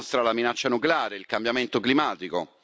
Lo dimostra la minaccia nucleare, il cambiamento climatico.